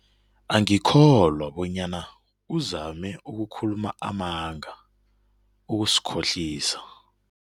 Angikholwa bonyana uzame ukukhuluma amanga, ukusikhohlisa.